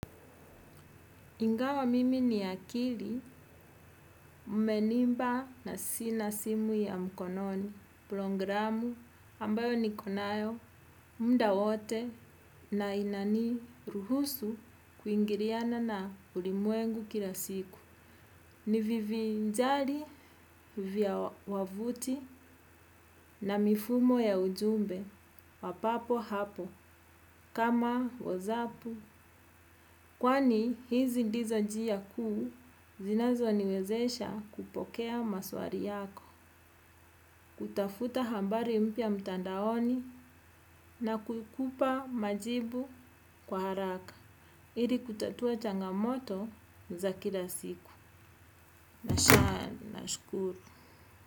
Ingawa mimi ni akili mmenimba na sina simu ya mkononi programu ambayo niko nayo muda wote na inaniruhusu kuingiriana na ulimwengu kila siku. Ni vivinjali, vya wavuti na mifumo ya ujumbe, wa papo hapo, kama wazapu. Kwani, hizi ndizo njia kuu, zinazo niwezesha kupokea maswari yako. Kutafuta hambari mpya mtandaoni na kukupa majibu kwa haraka. Iri kutatua changamoto za kila siku. Na shaya, na shukuru.